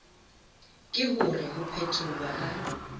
ke hore ho phetholwa ha